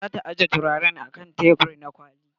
Za ta ajiye turaren a kan tebur na kwalliya.